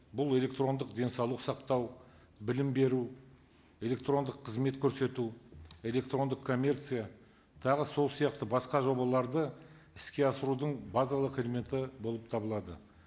бұл электрондық денсаулық сақтау білім беру электрондық қызмет көрсету электрондық коммерция тағы сол сияқты басқа жобаларды іске асырудың базалық элементі болып табылады